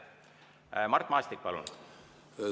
Mart Maastik, palun!